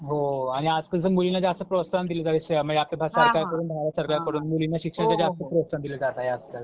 हो, आणि आजकालच्या मुलींना जास्त प्रोत्साहन दिलं जातंय म्हणजे आजकाल सरकारकडून, भारत सरकारकडून मुलींना शिक्षणाचं जास्त प्रोत्साहन दिलं जात आहे आजकाल.